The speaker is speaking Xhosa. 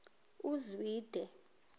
uzwide